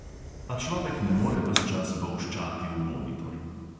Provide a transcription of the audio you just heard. A človek ne more ves čas bolščati v monitor.